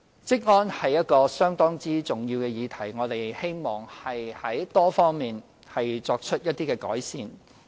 職安是一項相當重要的議題，我們希望從多方面作出改善。